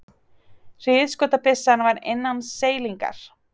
Hríðskotabyssan var innan seilingar.